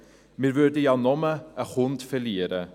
Wir würden ja nur einen Kunden verlieren.